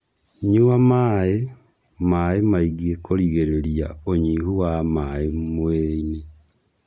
Nyũa maĩ maĩ maingĩ kũrigirĩria ũnyihu wa maĩ mũirĩini